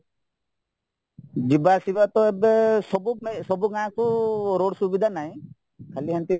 ଯିବା ଆସିବାତ ଏବେ ସବୁ ପାଇଁ ସବୁ ଗାଁକୁ ରୋଡ ସୁବିଧା ନାହିଁ ଖାଲି ଏମିତି